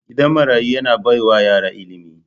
Gidan marayu yana baiwa yara ilimi.